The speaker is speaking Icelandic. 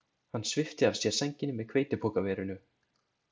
Hann svipti af sér sænginni með hveitipokaverinu.